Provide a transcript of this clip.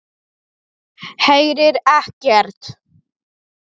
Heyrir ekkert.